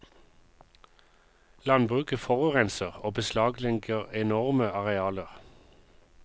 Landbruket forurenser, og beslaglegger enorme arealer.